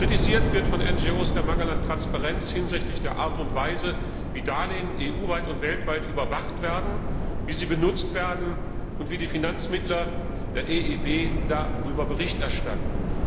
Kritisiert wird von den NGO der Mangel an Transparenz hinsichtlich der Art und Weise, wie Darlehen EU weit und weltweit überwacht werden, wie sie benutzt werden und wie die Finanzmittler der EIB darüber Bericht erstatten.